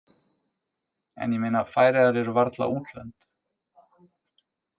En ég meina Færeyjar eru varla útlönd.